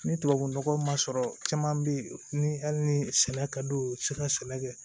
Ni tubabu nɔgɔ ma sɔrɔ caman bɛ yen ni hali ni sɛnɛ ka d'u ye u tɛ se ka sɛnɛ kɛ